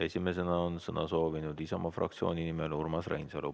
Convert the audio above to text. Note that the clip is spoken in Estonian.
Esimesena on sõna soovinud Isamaa fraktsiooni nimel Urmas Reinsalu.